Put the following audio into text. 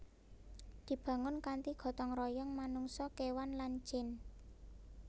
Dibangun kanthi gotong royong manungsa kéwan lan jin